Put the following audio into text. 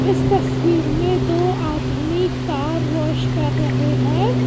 इस तस्वीर में दो आदमी कार वॉश कर रहे हैं।